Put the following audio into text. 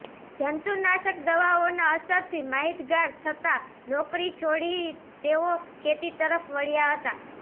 જંતુનાશક દવાઓના અસરથી માહિતગાર થતાં નોકરી છોડી તેઓ ખેતી તરફ વળ્યા હતા